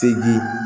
Seji